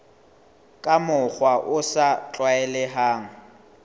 ka mokgwa o sa tlwaelehang